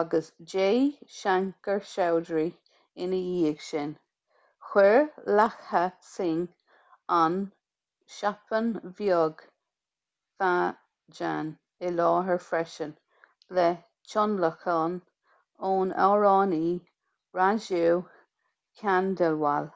agus jai shankar choudhary ina dhiaidh sin chuir lakkha singh an chhappan bhog bhajan i láthair freisin le tionlacan ón amhránaí raju khandelwal